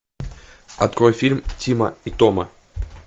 открой фильм тима и тома